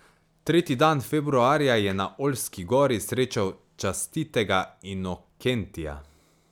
Tretji dan februarja je na Oljski gori srečal častitega Inokentija.